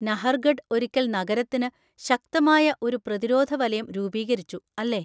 നഹർഗഡ് ഒരിക്കൽ നഗരത്തിന് ശക്തമായ ഒരു പ്രതിരോധ വലയം രൂപീകരിച്ചു, അല്ലേ?